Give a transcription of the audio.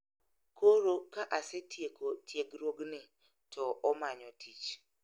Koro ka asetieko tiegruogni, to omanyo tich